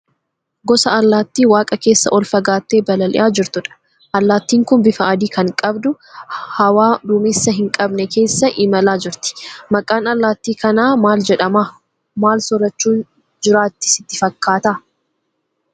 Gosa Allaatti waaqa keessa ol fagaattee balalii'aa jirtudha. Allaattiin kun bifa adii kan qabdu, hawaa duumessa hin qabne keessa imalaa jirti. Maqaan allaattii kanaa maal jedhama? Maal soorachuun jiraatti sitti fakkaata?